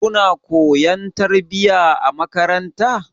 Kuna koyon tarbiyya a makaranta.